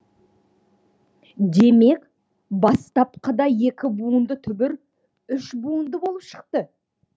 демек бастапқыда екі буынды түбір үш буынды болып шықты